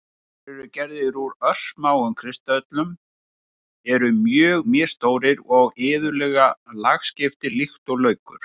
Þeir eru gerðir úr örsmáum kristöllum, eru mjög misstórir og iðulega lagskiptir líkt og laukur.